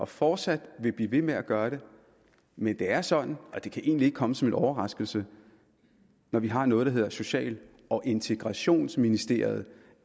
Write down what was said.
fortsat blive ved med at gøre det men det er sådan og det kan egentlig ikke komme som en overraskelse når vi har noget der hedder social og integrationsministeriet